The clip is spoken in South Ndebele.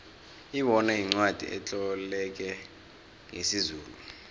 ibona yincwacli etloleke ngesizulu